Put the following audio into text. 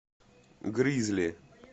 гризли